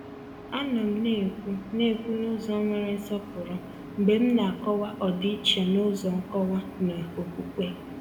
A nọ m na-ekwu na-ekwu n’ụzọ nwere nsọpụrụ mgbe m na-akọwa ọdịiche n’ụzọ nkọwa na okwukwe.